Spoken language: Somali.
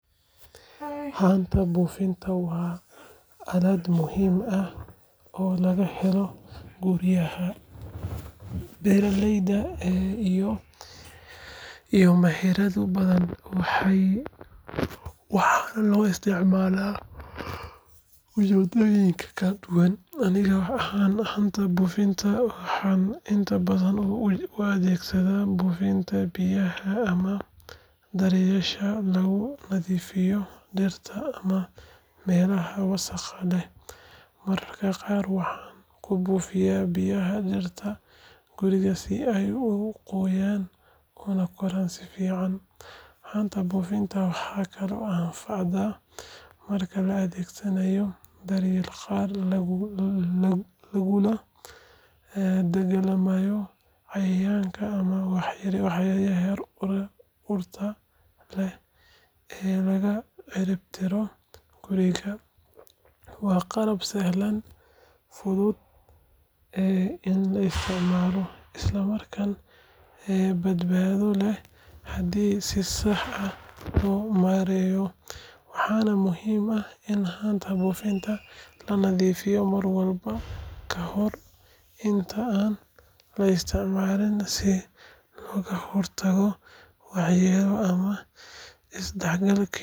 Haanta buufinta waa aalad muhiim ah oo laga helo guryaha, beeraleyda iyo meherado badan, waxaana loo isticmaalaa ujeeddooyin kala duwan. Aniga ahaan haanta buufinta waxaan inta badan u adeegsadaa buufinta biyaha ama dareerayaasha lagu nadiifiyo dhirta ama meelaha wasakhda leh. Mararka qaar waxaan ku buufiyaa biyaha dhirta guriga si ay u qoyaan una koraan si fiican. Haanta buufinta waxay kaloo anfacdaa marka la adeegsanayo dareereyaal lagula dagaallamo cayayaanka ama waxyaabaha urta leh ee laga cirib tiro guriga. Waa qalab sahlan, fudud in la isticmaalo, isla markaana badbaado leh haddii si sax ah loo maareeyo. Waxaana muhiim ah in haanta buufinta la nadiifiyo mar walba ka hor inta aan la isticmaalin si looga hortago waxyeelo ama isdhexgal.